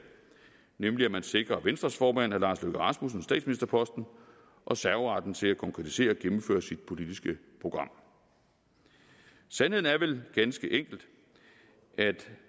nemlig at man sikrer venstres formand herre lars løkke rasmussen statsministerposten og serveretten til at konkretisere og gennemføre sit politiske program sandheden er vel ganske enkelt at